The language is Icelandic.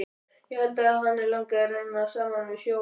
Ég held að hana langi að renna saman við sjóinn.